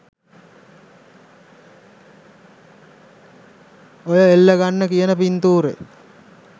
ඔය එල්ල ගන්න කියන පින්තූරෙ